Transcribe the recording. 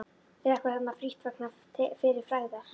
Drekkur þarna frítt vegna fyrri frægðar.